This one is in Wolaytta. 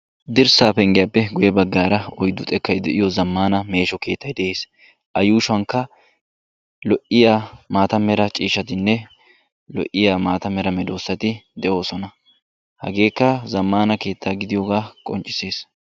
Dirssa penggiyappe guye bagan oyddu xekkay de'iyo zamaana keettay de'ees. A yuushuwan daro zamaana keettatti de'osonna.